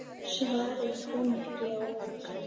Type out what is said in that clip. Svarið kom ekki á óvart.